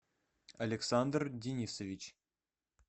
александр денисович